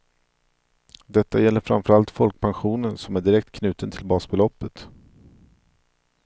Detta gäller framför allt folkpensionen som är direkt knuten till basbeloppet.